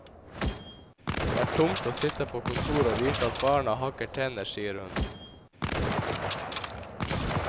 Det er tungt å sitte på kontoret og vite at barna hakker tenner, sier hun.